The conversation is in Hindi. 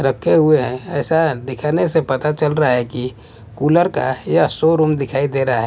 रखे हुए हैं ऐसा दिखने से पता चल रहा है कि कूलर का यह शोरूम दिखाई दे रहा है।